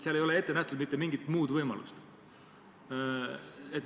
" Seal ei ole ette nähtud mitte mingit muud võimalust.